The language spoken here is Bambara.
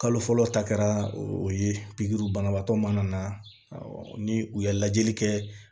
Kalo fɔlɔ ta kɛra o ye banabaatɔ mana na ni u ye lajɛli kɛ